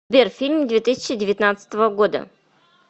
сбер фильм две тысячи девятнадцатого года